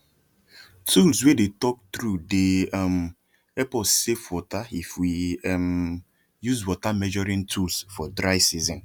tools wey dey talk true dey um help us safe waterif we um use water measuring tools for dry season